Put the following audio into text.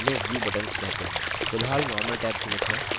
फिलहाल normal tab चुनित हैं